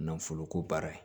Nanfolo ko baara ye